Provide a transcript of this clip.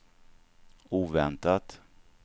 oväntat